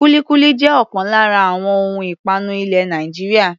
Kúlíkúlí jẹ́ ọ̀kan lára àwọn ohun ìpanu ilẹ̀ Nàìjíríà.